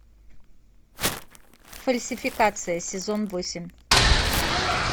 фальсификация сезон восемь